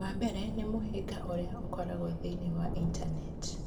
Ũndũ wa mbere nĩ mũhĩnga ũrĩa ũkoragwo thĩinĩ wa Intaneti